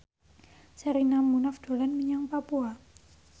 Sherina Munaf dolan menyang Papua